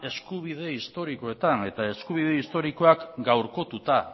eskubide historikoetan eta eskubide historiak gaurkotuta